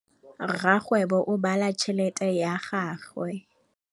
Rakgwêbô o bala tšheletê ya gagwe.